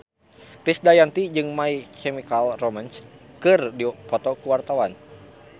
Krisdayanti jeung My Chemical Romance keur dipoto ku wartawan